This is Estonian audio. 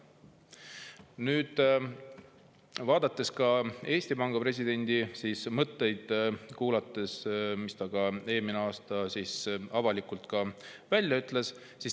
Kuulasin ka Eesti Panga presidendi mõtteid, mis ta eelmisel aastal avalikult välja ütles.